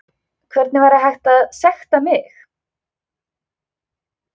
Hvernig væri hægt að sekta mig?